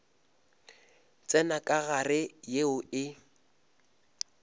tsenya ka gare yeo e